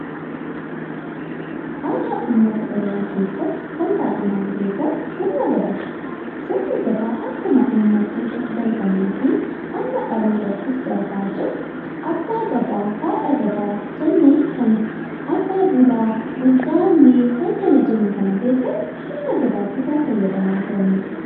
Aadaa uummata Oromoo keessatti kan baay'inaan beekamu sirna Gadaati. Sirni Gadaa akkuma uummattoota darbanii fi amma dhalootattis darbaa jiru, abbaa Gadaa, haadha Gadaa jennee kan abbaa Duulaa, Gaammee kan kana jennu keessatti sirna Gadaa kan itti fayyadamaa turanidha.